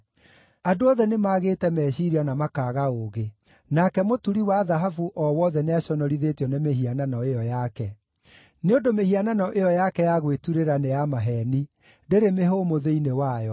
Andũ othe nĩmagĩte meciiria na makaaga ũũgĩ; nake mũturi wa thahabu o wothe nĩaconorithĩtio nĩ mĩhianano ĩyo yake. Nĩ ũndũ mĩhianano ĩyo yake ya gwĩturĩra nĩ ya maheeni; ndĩrĩ mĩhũmũ thĩinĩ wayo.